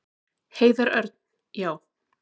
Heiðar Örn: Já.